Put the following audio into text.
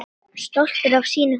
Stoltur af sínu húsi.